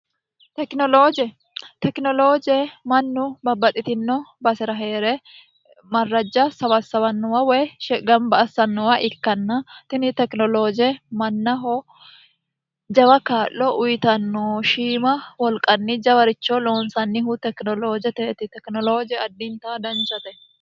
tekinolooje tekinolooje mannu babbaxitino base'ra hee're marrajja sawassawannowa woy gamba assannowa ikkanna tini tekinolooje mannaho jawa kaa'lo uyitanno shiima wolqanni jawaricho loonsannihu tekinoloojeteeti tekinolooje addinta danchate